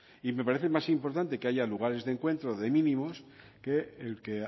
y me parece más importante que haya lugares de encuentro de mínimos que el que